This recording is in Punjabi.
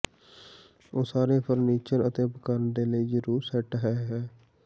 ਉਹ ਸਾਰੇ ਫਰਨੀਚਰ ਅਤੇ ਉਪਕਰਣ ਦੇ ਲਈ ਜ਼ਰੂਰੀ ਸੈੱਟ ਹੈ ਹੈ